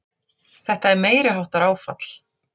Þetta er meiriháttar áfall!